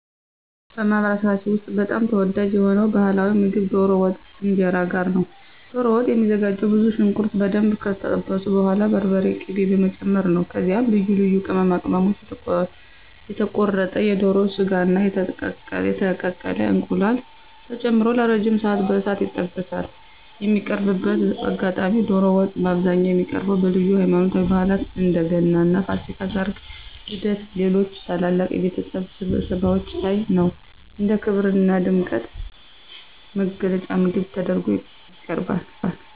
በማኅበረሰባችን ውስጥ በጣም ተወዳጅ የሆነው ባሕላዊ ምግብ ዶሮ ወጥ ከእንጀራ ጋር ነው። ዶሮ ወጥ የሚዘጋጀውም ብዙ ሽንኩርት በደንብ ከጠበሱ በኋላ በርበሬና ቅቤ በመጨመር ነው። ከዚያም ልዩ ልዩ ቅመማ ቅመሞች፣ የተቆረጠ የዶሮ ሥጋና የተቀቀለ እንቁላል ተጨምሮ ለረጅም ሰዓት በእሳት ይበስላል። የሚቀርብበት አጋጣሚም ዶሮ ወጥ በአብዛኛው የሚቀርበው በልዩ ሃይማኖታዊ በዓላት (እንደ ገናና ፋሲካ)፣ ሠርግ፣ ልደትና ሌሎች ታላላቅ የቤተሰብ ስብሰባዎች ላይ ነው። እንደ ክብርና ድምቀት መግለጫ ምግብ ተደርጎ ይቀርባል።